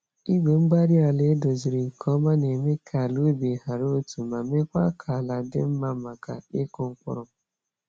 Igwe-mgbárí-ala edoziziri nke ọma na-eme ka ala ubi hàrà otu, ma mekwa kà àlà dị mmá maka ịkụ mkpụrụ.